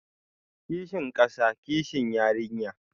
Kishin kasa, kishi yarinya